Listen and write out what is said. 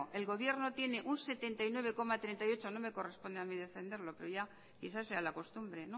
el gobierno tiene un setenta y nueve coma treinta y ocho no me corresponde a mí defenderlo pero ya quizás sea la costumbre